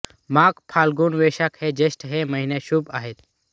माघ फाल्गुन वैशाख व ज्येष्ठ हे महिने शुभ आहेत